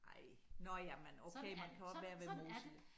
Ej nåh ja men okay man kan også være ved Mosel